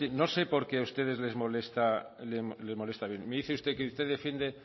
no sé por qué a ustedes les molesta me dice usted que usted defiende